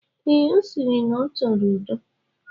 Ee, ọ sịrị na ọ chọrọ udo.